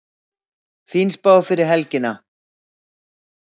Fín spá fyrir helgina